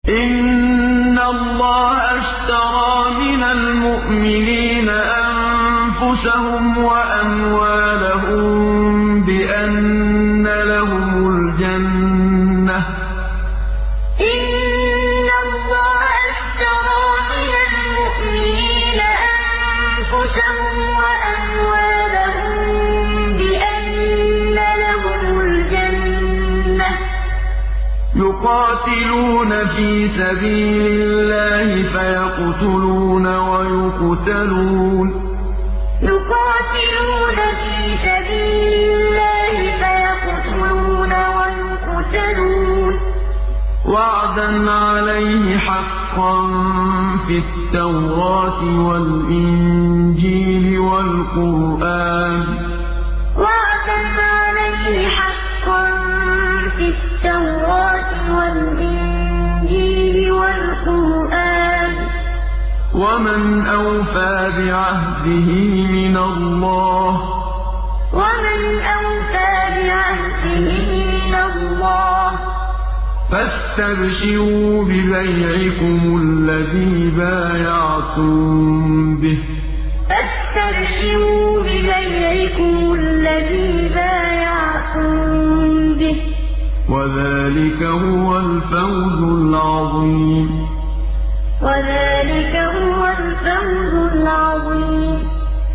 ۞ إِنَّ اللَّهَ اشْتَرَىٰ مِنَ الْمُؤْمِنِينَ أَنفُسَهُمْ وَأَمْوَالَهُم بِأَنَّ لَهُمُ الْجَنَّةَ ۚ يُقَاتِلُونَ فِي سَبِيلِ اللَّهِ فَيَقْتُلُونَ وَيُقْتَلُونَ ۖ وَعْدًا عَلَيْهِ حَقًّا فِي التَّوْرَاةِ وَالْإِنجِيلِ وَالْقُرْآنِ ۚ وَمَنْ أَوْفَىٰ بِعَهْدِهِ مِنَ اللَّهِ ۚ فَاسْتَبْشِرُوا بِبَيْعِكُمُ الَّذِي بَايَعْتُم بِهِ ۚ وَذَٰلِكَ هُوَ الْفَوْزُ الْعَظِيمُ ۞ إِنَّ اللَّهَ اشْتَرَىٰ مِنَ الْمُؤْمِنِينَ أَنفُسَهُمْ وَأَمْوَالَهُم بِأَنَّ لَهُمُ الْجَنَّةَ ۚ يُقَاتِلُونَ فِي سَبِيلِ اللَّهِ فَيَقْتُلُونَ وَيُقْتَلُونَ ۖ وَعْدًا عَلَيْهِ حَقًّا فِي التَّوْرَاةِ وَالْإِنجِيلِ وَالْقُرْآنِ ۚ وَمَنْ أَوْفَىٰ بِعَهْدِهِ مِنَ اللَّهِ ۚ فَاسْتَبْشِرُوا بِبَيْعِكُمُ الَّذِي بَايَعْتُم بِهِ ۚ وَذَٰلِكَ هُوَ الْفَوْزُ الْعَظِيمُ